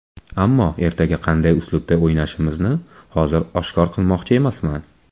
Ammo ertaga qanday uslubda o‘ynashimizni hozir oshkor qilmoqchi emasman.